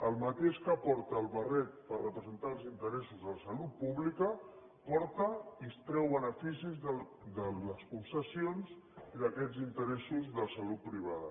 el mateix que porta el barret per representar els interessos a la salut pública porta i treu beneficis de les concessions i d’aquests interessos de salut privada